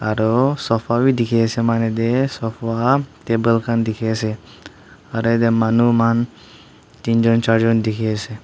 aru sofa vi dekhi ase sofa table khan dekhi ase tinjon charjon dekhi ase.